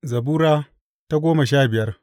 Zabura Sura goma sha biyar